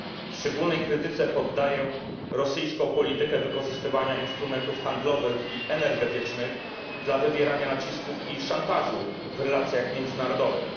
Szczególnej krytyce poddaję rosyjską politykę wykorzystywania instrumentów handlowych i energetycznych do wywierania nacisków i szantażu w relacjach międzynarodowych.